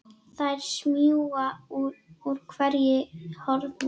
Þær smjúga úr hverju horni.